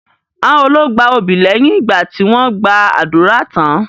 Àwọn wo ló gba obì lẹ́yìn ìgbà tí wọ́n gba ádùrá tán?